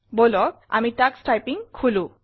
বলক আমি Tux typing খোলো